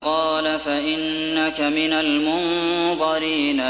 قَالَ فَإِنَّكَ مِنَ الْمُنظَرِينَ